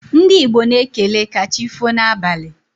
Ndị Igbo na-ekele 'kachifo' n'abalị